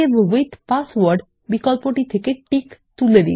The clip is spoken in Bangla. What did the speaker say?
সেভ উইথ পাসওয়ার্ড বিকল্প থেকে টিক তুলে দিন